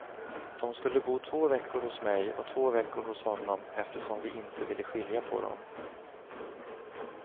De skulle bo två veckor hos mig och två veckor hos honom, eftersom vi inte ville skilja på dem.